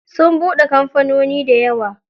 Sun buɗe kamfanoni dayawa.